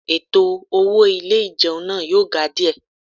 Ètò owó ilé ìjẹun náà yóò ga díẹ̀